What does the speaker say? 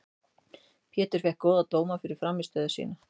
Pétur fékk góða dóma fyrir frammistöðu sína.